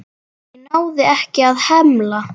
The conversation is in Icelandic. Ég náði ekki að hemla.